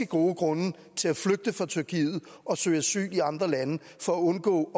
gode grunde til at flygte fra tyrkiet og søge asyl i andre lande for at undgå